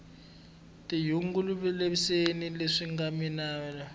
tinyungubyiseni leswi minga hlula